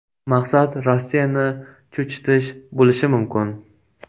Maqsad Rossiyani cho‘chitish bo‘lishi mumkin.